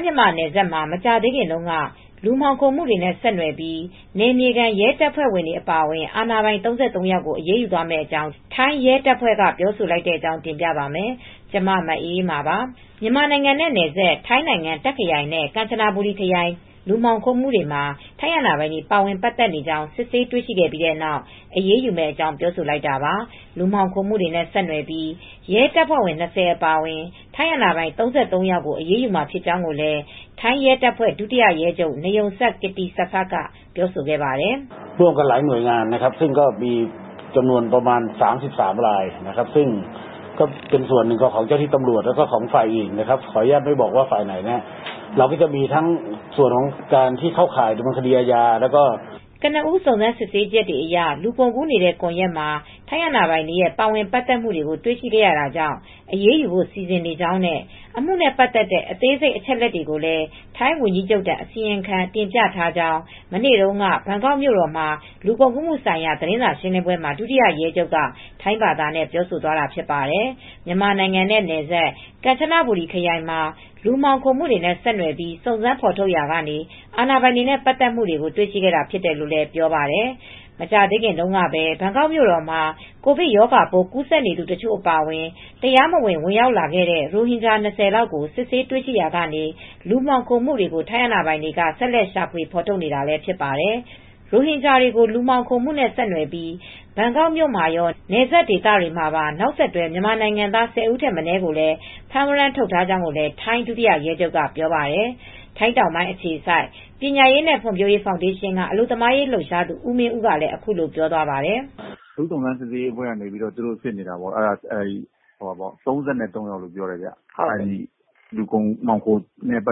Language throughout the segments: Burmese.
း-မြန်မာနယ်စပ်မှာ မကြာသေးခင်တုန်းက လူမှောင်ခိုမှုတွေနဲ့ ဆက်နွယ်ပြီး နယ်မြေခံရဲတပ်ဖွဲ့ဝင်တွေ အပါအဝင် အာဏာပိုင် ၃၃ ယောက်ကို အရေးယူသွားမယ့်အကြောင်း ထိုင်းရဲတပ်ဖွဲ့က ပြောဆိုလိုက်တဲ့သတင်းကို တင်ပြပါမယ်။ ဗွီအိုအေမြန်မာပိုင်းသတင်းထောက် မအေးအေးမာက ထိုင်း မြန်မာနယ်စပ်ကနေ သတင်းပေးပို့ထားပါတယ်။ မြန်မာနိုင်ငံနဲ့နယ်စပ် ထိုင်းနိုင်ငံ တာ့ခ်ခရိုင်နဲ့ ကမ်ချဘူရီခရိုင် လူမှောင်ခိုမှုတွေမှာ ထိုင်းအာဏာပိုင်တွေ ပါဝင်ပတ်သက်နေကြောင်း စစ်ဆေးတွေ့ရှိခဲ့ပြီးနောက် အရေးယူမယ့်အကြောင်း ပြောဆိုလိုက်တာပါ။ လူမှောင်ခိုမှုတွေနဲ့ ဆက်နွယ်ပြီး ရဲတပ်ဖွဲ့ဝင် ၂၀ အပါအဝင် ထိုင်းအာဏာပိုင် ၃၃ ယောက်ကို အရေးယူမှာ ဖြစ်ကြောင်းလည်း ထိုင်းရဲတပ်ဖွဲ့ ဒုတိယရဲချုပ် နယုံစပ် ကစ်တီစဖတ် က ပြောပါတယ်။ "ကနဦး စုံစမ်းစစ်ဆေးချက်တွေအရ လူကုန်ကူးနေတဲ့ ကွန်ယက်မှာ ထိုင်းအာဏာပိုင်တွေရဲ့ ပါဝင်ပတ်သက်မှုတွေကို တွေ့ရှိခဲ့ရတာကြောင့် အရေးယူဖို့ စီစဉ်နေကြောင်းနဲ့ အမှုနဲ့ ပတ်သက်တဲ့ အသေးစိတ် အချက်အလက်တွေကိုလည်း ထိုင်းဝန်ကြီးချုပ်ထံ အစီရင်ခံ တင်ပြထားကြောင်း" မနေ့တုန်းက ဘန်ကောက်မြို့တော်က လူမှောင်ခိုမှုဆိုင်ရာ သတင်းစာရှင်းလင်းပွဲမှာ ဒုတိယရဲချုပ်က ထိုင်းဘာသာနဲ့ ပြောဆိုသွားတာ ဖြစ်ပါတယ်။ မြန်မာနိုင်ငံနဲ့နယ်စပ် ကန်ချနဘူရီခရိုင်မှာ လူမှောင်ခိုမှုနဲ့ ဆက်နွယ်ပြီး စုံစမ်းဖော်ထုတ်ရာက အာဏာပိုင်တွေနဲ့ ပတ်သက်မှုတွေကို တွေ့ရှိခဲ့တာ ဖြစ်တယ်လို့လည်း ပြောပါတယ်။ မကြာသေးခင်တုန်းကပဲ ဘန်ကောက်မြို့တော်မှာ ကိုဗစ်ရောဂါပိုး ကူးစက်နေသူတချို့ အပါအဝင် တရားမဝင်ရောက်ရှိနေတဲ့ ရိုဟင်ဂျာ ၂၀ ကို စစ်ဆေးတွေ့ရှိခဲ့ရာက လူမှောင်ခိုမှုတွေကို ထိုင်းအာဏာပိုင်တွေ ဆက်လက် ရှာဖွေဖော်ထုတ်နေတာလည်း ဖြစ်ပါတယ်။ ရိုဟင်ဂျာတွေကို လူမှောင်ခိုမှုနဲ့ ဆက်နွယ်ပြီး ဘန်ကောက်မြို့မှာရော နယ်စပ်ဒေသမှာပါ နောက်ဆက်တွဲ မြန်မာနိုင်ငံသား ၁၀ ဦးထက် မနည်းကို ဖမ်းဝရမ်းထုတ်ထားကြောင်းလည်း ထိုင်းဒုရဲချုပ်ကပြောပါတယ်။ ထိုင်းတောင်ပိုင်း အခြေစိုက်ပညာရေးနဲ့ ဖွံဖြိုးရေးဖောင်ဒေးရှင်းက အလုပ်သမားရေး လှုပ်ရှားသူဦးမင်းဦးကလည်း အခုလိုပြောပြပါတယ်။ "အထူးစုံစမ်းရေးအဖွဲ့က စစ်နေတာပေါ့... ၃၃ ယောက်လို့ ပြောတယ်။ လူမှောင်ခိုမှုနဲ့ ဆ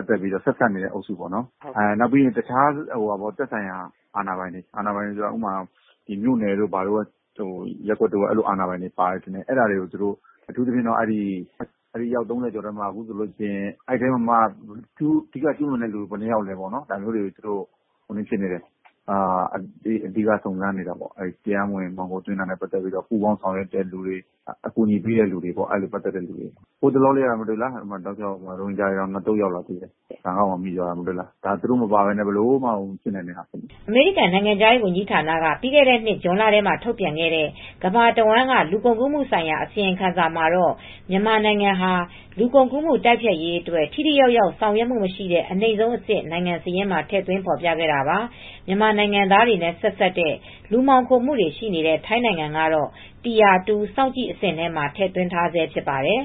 က်စပ်နေတဲ့အုပ်စုပေါ့နော်။ တခြား သက်ဆိုင်ရာအာဏာပိုင်တွေ... မြို့နယ်အာဏာပိုင်တွေ ပါတယ်။ အဲဒီ အယောက် ၃၀ ကျော်ထဲမှာ အဓိက ကျူးလွန်သူတွေက ဘယ်နှစ်ယောက်လဲ။ ဒါမျိုးတွေ အဓိကစုံစမ်းနေတယ်။ တရားမဝင်လူမှောင်ခိုသွင်းတဲ့သူတွေ အကူညီပေးတဲ့သူတွေ လူမှောင်ခိုမှုမှာ ဆက်စပ်နေတဲ့သူတွေကို စစ်တာ ဟိုတလောကပဲ ဘန်ကောက်ကို ရိုဟင်ဂျာ ၂ သုတ် ရောက်လာသေးတယ်။ ဒီကိစ္စတွေက သူတို့မပါဘဲ ဘယ်လို့မှ မဖြစ်နိုင်တာလေ။" အမေရိကန်နိုင်ငံခြားရေး ဝန်ကြီးဌာနက ပြီးခဲ့တဲ့နှစ် ဇွန်လထဲမှာ ထုတ်ပြန်ခဲ့တဲ့ ကမ္ဘာတဝန်းက လူကုန်ကူးမှုဆိုင်ရာ အစီရင်ခံစာမှာတော့ မြန်မာနိုင်ငံဟာ လူကုန်ကူးမှု တိုက်ဖျက်ရေးအတွက် ထိထိရောက်ရောက် ဆောင်ရွက်မှုမရှိတဲ့ အနိမ့်ဆုံးအဆင့် နိုင်ငံစာရင်းမှာ ထည့်သွင်းဖော်ပြခဲ့တာပါ။ မြန်မာနိုင်ငံသားတွေနဲ့ ဆက်စပ်တဲ့ လူမှောင်ခိုမှုတွေ ရှိနေတဲ့ ထိုင်းနိုင်ငံကတော့ tire 2 စောင့်ကြည့်အဆင့်မှာ ထည့်သွင်းထားဆဲ ဖြစ်ပါတယ်